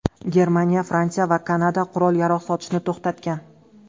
Germaniya, Fransiya va Kanada qurol-yarog‘ sotishni to‘xtatgan.